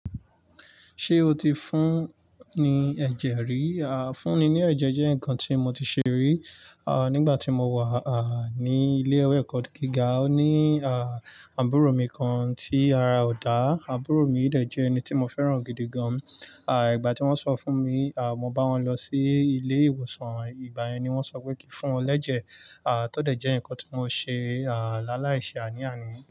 Ṣé o ti fún ni ẹ̀jẹ̀ rí? À fúnni ní ẹ̀jẹ̀ jẹ́ nǹkan tí mo ti ṣe rí. À nígbà tí mo wà à ní ilé-ìwé ẹ̀kọ́ gíga. Ó ní à àbúrò mi kan tí ara ò dá. Àbúrò mi ì dẹ jẹ́ ẹni tí mo fẹ́ràn gidi gan. À ìgbà tí wọ́n sọ fún mi à mo bá wọn lọ sí ilé ìwòsàn. Ìgbà yẹn ni wọ́n sọ pé kí fún wọn l'ẹ́jẹ̀. À tódẹ̀ jẹ́ nǹkan tí mo ṣe à lá láì ṣe àní àní.